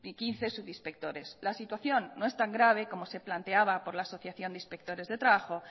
quince subinspectores la situación no es tan grave como se planteaba por la asociación de inspectores de trabajo